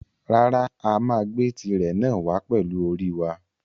Rárá, a máa gbé tirè náà wàá pẹlú orí wa.